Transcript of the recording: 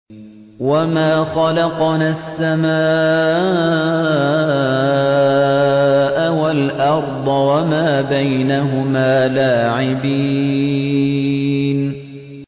وَمَا خَلَقْنَا السَّمَاءَ وَالْأَرْضَ وَمَا بَيْنَهُمَا لَاعِبِينَ